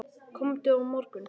Komdu á morgun.